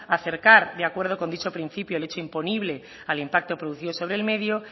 acercar de acuerdo con dicho principio el hecho imponible al impacto producido sobre el medio